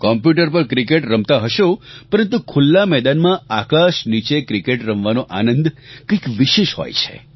computer પર cricket રમતાં હશો પરંતુ ખુલ્લા મેદાનમાં આકાશ નીચે ક્રિકેટ રમવાનો આનંદ કંઇક વિશેષ હોય છે